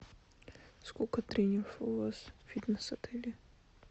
сколько тренеров у вас в фитнес отеле